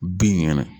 Bin kɛnɛ